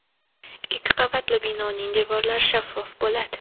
Ikki qavatli binoning devorlari shaffof bo‘ladi.